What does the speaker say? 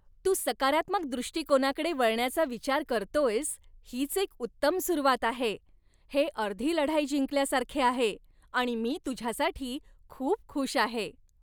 तू सकारात्मक दृष्टिकोनाकडे वळण्याचा विचार करतोयस हीच एक उत्तम सुरुवात आहे. हे अर्धी लढाई जिंकल्यासारखे आहे आणि मी तुझ्यासाठी खूप खुश आहे.